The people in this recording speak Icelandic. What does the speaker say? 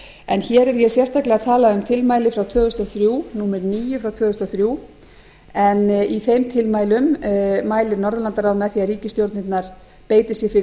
en hér er ég sérstaklega að tala um tilmæli númer níu frá tvö þúsund og þrjú en í þeim tilmælum mælir norðurlandaráð með því að ríkisstjórnirnar beiti sér fyrir því